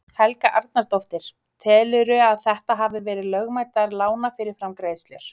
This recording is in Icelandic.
Helga Arnardóttir: Telurðu að þetta hafi verið lögmætar lánafyrirgreiðslur?